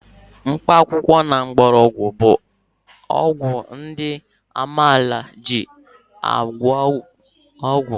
Mkpakwụkwọ na mgbọrọgwụ bụ ọgwụ ndị amaala ji agwọ ọrịa.